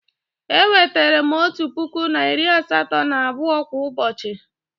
E wetara m otu puku na iri asatọ na abụọ kwa ụbọchị